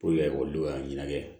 ekɔlidenw ka ɲɛnajɛ